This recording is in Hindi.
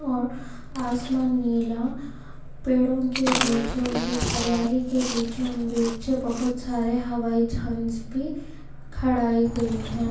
और आसमान नीला पेड़ों के बीचों बीच हरियाली के बीचों बीच बहुत सारे हवाई जहांज भी खड़ाई गई हैं।